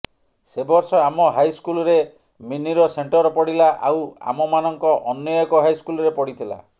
ସେ ବର୍ଷ ଆମ ହାଇସ୍କୁଲରେ ମିନିର ସେଣ୍ଟର ପଡ଼ିଲା ଆଉ ଆମମାନଙ୍କ ଅନ୍ୟ ଏକ ହାଇସ୍କୁଲରେ ପଡ଼ିଥିଲା